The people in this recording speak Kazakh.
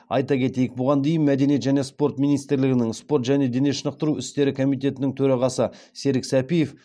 айта кетейік бұған дейін мәдениет және спорт министрлігінің спорт және дене шынықтыру істері комитетінің төрағасы серік сәпиев